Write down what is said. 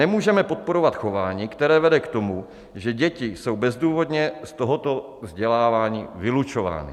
Nemůžeme podporovat chování, které vede k tomu, že děti jsou bezdůvodně z tohoto vzdělávání vylučovány.